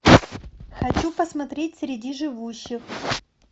хочу посмотреть среди живущих